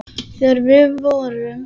Þegar við vorum.